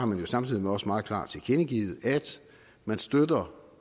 man jo samtidig også meget klart tilkendegivet at man støtter